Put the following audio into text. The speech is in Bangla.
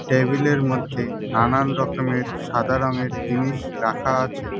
টেবিলের মধ্যে নানান রকমের সাদা রঙের জিনিস রাখা আছে।